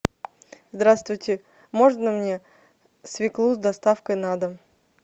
здравствуйте можно мне свеклу с доставкой на дом